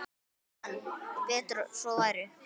Hann: Betur að svo væri.